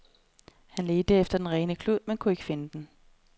Han ledte efter den rene klud, men kunne ikke finde den.